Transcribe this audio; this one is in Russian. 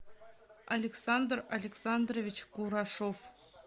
александр александрович курашов